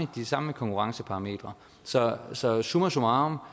de samme konkurrenceparametre så så summa summarum